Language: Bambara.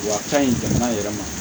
Wa ka ɲi jamana yɛrɛ ma